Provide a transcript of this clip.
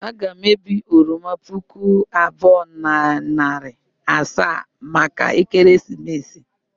Aga m ebi oroma puku abụọ na narị asaa maka ekeresimesi.